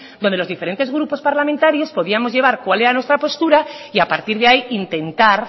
donde los diferentes grupos parlamentarios podíamos llevar cual era nuestra postura y a partir de ahí intentar